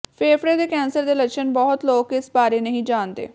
ਫੇਫੜੇ ਦੇ ਕੈਂਸਰ ਦੇ ਲੱਛਣ ਬਹੁਤੇ ਲੋਕ ਇਸ ਬਾਰੇ ਨਹੀਂ ਜਾਣਦੇ